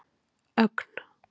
Ögn